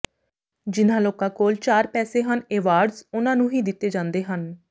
ਜਿਨ੍ਹਾਂ ਲੋਕਾਂ ਕੋਲ ਚਾਰ ਪੈਸੇ ਹਨ ਐਵਾਰਡਜ਼ ਉਨ੍ਹਾਂ ਨੂੰ ਹੀ ਦਿੱਤੇ ਜਾਂਦੇ ਹਨ